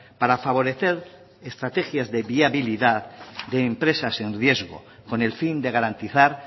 para favorecer estrategias de viabilidad de empresas en riesgo con el fin de garantizar